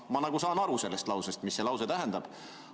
Ma saan aru sellest lausest, sellest, mida see lause tähendab.